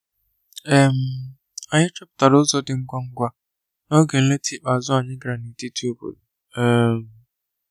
um Anyi chọpụtara ụzo di ngwa ngwa n'oge nleta ikpeazu anyi gara n'etiti obodo um